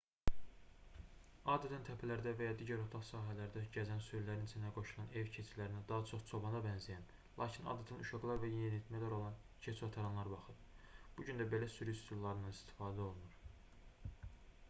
adətən təpələrdə və ya digər otlaq sahələrdə gəzən sürülərin içinə qoşulan ev keçilərinə daha çox çobana bənzəyən lakin adətən uşaqlar və yeniyətmələr olan keçiotaranlar baxır bu gün də belə sürü üsullarından istifadə olunur